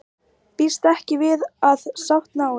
Býst ekki við að sátt náist